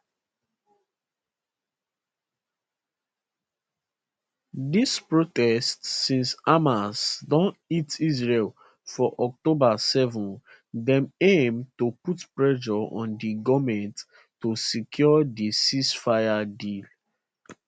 dis protests since hamas don hit israel for october 7 dem aim to put pressure on di goment to secure di ceasefire deal